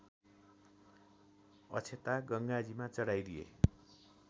अक्षता गङ्गाजीमा चढाइदिए